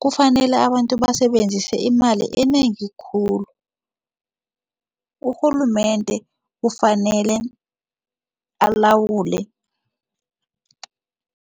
kufanele abantu basebenzise imali enengi khulu urhulumende kufanele alawule.